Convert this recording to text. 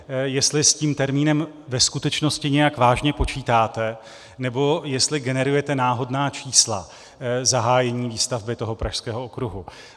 Jestli s tím termínem ve skutečnosti nějak vážně počítáte, nebo jestli generujete náhodná čísla zahájení výstavby Pražského okruhu.